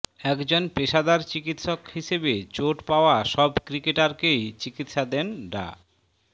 একজন পেশাদার চিকিৎসক হিসেবে চোট পাওয়া সব ক্রিকেটারকেই চিকিৎসা দেন ডা